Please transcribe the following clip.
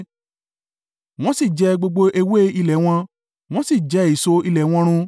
wọn sì jẹ gbogbo ewé ilẹ̀ wọn, wọ́n sì jẹ èso ilẹ̀ wọn run.